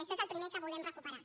això és el primer que volem recuperar